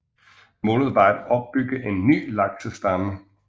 Målet var at opbygge en ny laksestamme